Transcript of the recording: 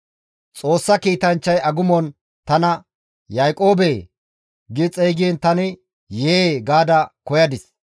Xoossa kiitanchchay agumon tana, ‹Yaaqoobee!› gi xeygiin tani, ‹Yee!› gaada koyadis.